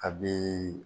A bi